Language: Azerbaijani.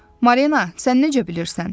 Marina, sən necə bilirsən?